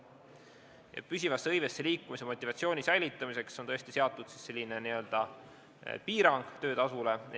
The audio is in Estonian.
Just püsivasse hõivesse liikumise motivatsiooni säilitamiseks ongi seatud selline piirang töötasule.